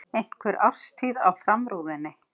Einhver árstíð á framrúðunni.